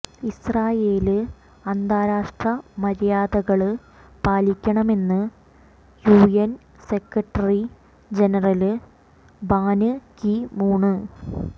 Israel അന്താരാഷ്ട്ര മര്യാദകള് പാലിക്കണമെന്ന് U N secretary general Ban Ki Moon